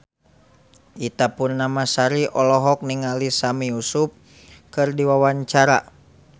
Ita Purnamasari olohok ningali Sami Yusuf keur diwawancara